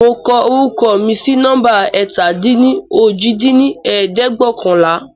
Mo kọ orúkọ mi sí numba ẹ̀ta-dín-ní-ojì dín ní ẹ̀ẹ́dẹ́gbẹ́ọ̀kànlá